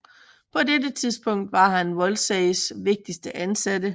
På dette tidspunkt var han Wolseys vigtigste ansatte